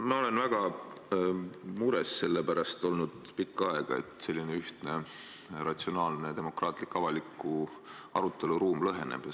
Ma olen olnud väga mures selle pärast pikka aega, et selline ühtne, ratsionaalne ja demokraatlik avaliku arutelu ruum lõheneb.